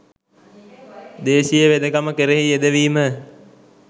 දේශීය වෙදකම කෙරෙහි යෙදවීම